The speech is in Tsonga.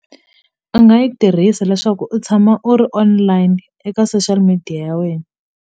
A nga yi tirhisi leswaku u tshama u ri online eka social media ya wena.